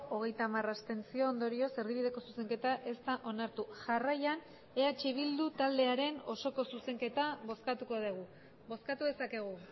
hogeita hamar abstentzio ondorioz erdibideko zuzenketa ez da onartu jarraian eh bildu taldearen osoko zuzenketa bozkatuko dugu bozkatu dezakegu